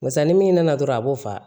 Barisa ni min nana dɔrɔn a b'o fa